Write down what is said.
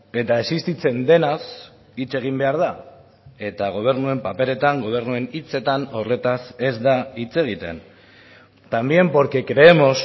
eta existitzen denaz hitz egin behar da eta gobernuen paperetan gobernuen hitzetan horretaz ez da hitz egiten también porque creemos